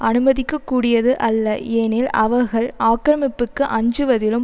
அனுமதிக்கக்கூடியது அல்ல ஏனில் அவர்கள் ஆக்கிரமிப்புக்கு அஞ்சுவதிலும்